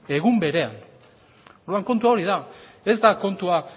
egun berean orduan kontua hori da ez da kontua